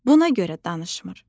Buna görə danışmır.